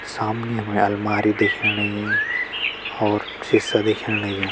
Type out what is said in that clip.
सामने हमे अलमारी दिखेण लगीं और सिसा दिखेण लग्युं।